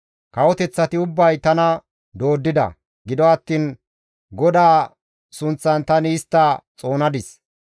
Kawoteththati ubbay tana dooddida; gido attiin GODAA sunththan tani istta xoonadis.